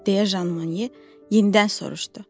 deyə Jan Mone yenidən soruşdu.